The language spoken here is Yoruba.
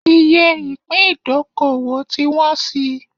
Iye ìpín ìdókòwò ti wọ́n síi